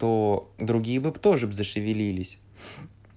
то другие бы б тоже зашевелились